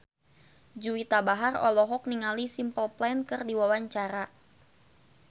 Juwita Bahar olohok ningali Simple Plan keur diwawancara